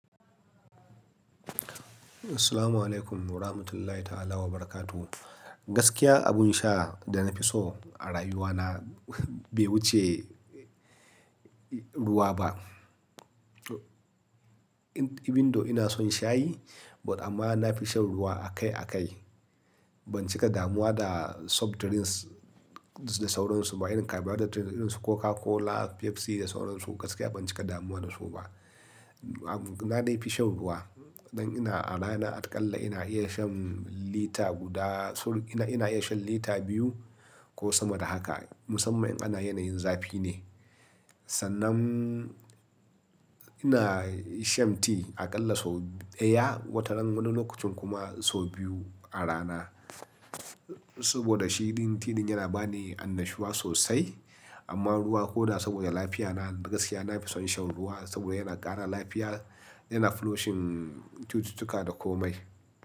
Assalamualaikum warahmatullahi ta'ala wabarakatuh. Gaskiya abun sha da na fi so a rayuwana bai wuce ruwa ba. Ibindo ina son shayi but amma na fi shan ruwa a kai a kai. Ban cika damuwa da soft drinks da sauran su ba irin kayan bar da drink irin su Coca-Cola, Pepsi da sauran su gaskiya ban cika damuwa da su ba. Na dai fi shan ruwa. Dan ina a rana aƙalla ina iya shan lita guda sur ina, ina iya shan lita biyu ko sama da haka musamman in ana yanayin zafi ne. Sannan ina shan ti aƙalla sau ɗaya wataran wani lokacin kuma sau biyu a rana. Saboda shi din ti ɗin yana ba ni annashuwa sosai amma ruwa ko da saboda lafiyana gaskiya na fi son shan ruwa saboda yana ƙara lafiya yana flushing cututtuka da komai.